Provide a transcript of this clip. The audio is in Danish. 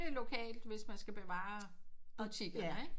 Lokalt hvis man er nødt til at beholde butikkerne ikke